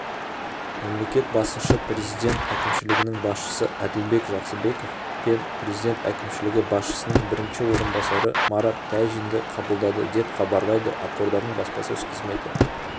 мемлекет басшысы президент әкімшілігінің басшысы әділбек жақсыбеков пен президент әкімшілігі басшысының бірінші орынбасары марат тәжинді қабылдады деп хабарлайды ақорданың баспасөз қызметі